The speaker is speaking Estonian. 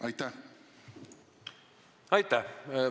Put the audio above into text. Aitäh!